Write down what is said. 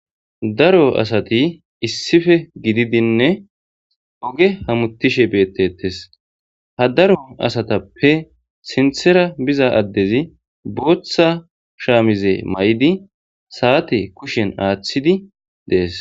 Daro assathi issippe gididine oge hamuthishe bethethess ha daro assathupe sinthera buzza addezi boththa shamize mayid sathe kushiyan athidi dees.